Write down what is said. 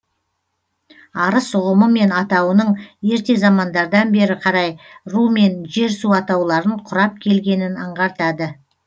арыс ұғымы мен атауының ерте замандардан бері қарай ру мен жер су атауларын құрап келгенін аңғартады